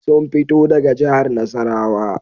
Sun fito daga jihar Nasarawa